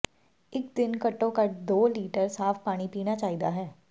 ਇੱਕ ਦਿਨ ਘੱਟੋ ਘੱਟ ਦੋ ਲੀਟਰ ਸਾਫ਼ ਪਾਣੀ ਪੀਣਾ ਚਾਹੀਦਾ ਹੈ